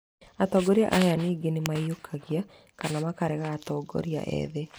Atongoria aya ningĩ nĩmaiyũkagia kana makarega atongoria ethĩ